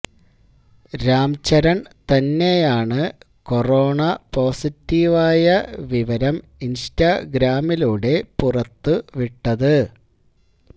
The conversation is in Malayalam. രാം ചരണ് തന്നെയാണ് കൊറോണ പോസിറ്റീവായ വിവരം ഇന്സ്റ്റാഗ്രാമിലൂടെ പുറത്തുവിട്ടത്